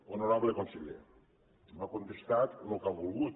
honorable conseller m’ha contestat lo que ha volgut